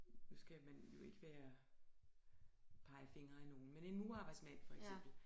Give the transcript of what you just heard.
Nu skal man jo ikke være pege fingre af nogen men en murerarbejdsmand for eksempel